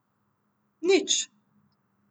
Nič.